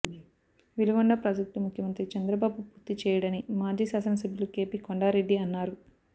Veligonda project ముఖ్యమంత్రి చంద్రబాబు పూర్తి చేయడని మాజీ శాసన సభ్యులు కెపి కొండారెడ్డి అన్నారు